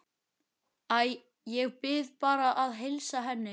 Æ, ég bið bara að heilsa henni